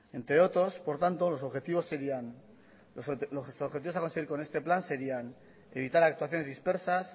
entre otros por tanto los objetivos a conseguir con este plan serían evitar actuaciones dispersas